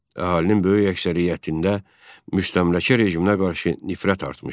Əhalinin böyük əksəriyyətində müstəmləkə rejiminə qarşı nifrət artmışdı.